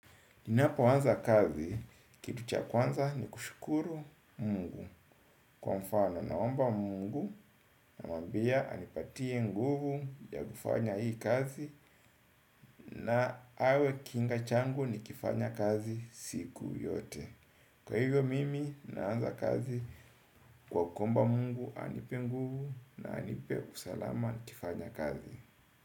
Ninapoanza kazi, kitu cha kwanza ni kushukuru Mungu. Kwa mfano naomba Mungu na mambia anipatie nguvu ya kifanya hii kazi na awe kinga changu ni kifanya kazi siku yote. Kwa hivyo mimi naanza kazi kwa kuomba Mungu anipe nguvu na anipe usalama kifanya kazi.